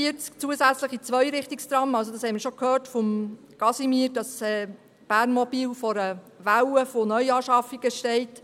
Wie wir von Casimir bereits gehört haben, steht Bernmobil vor einer Welle von Neuanschaffungen.